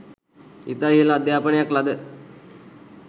ඉතා ඉහළ අධ්‍යාපනයක් ලද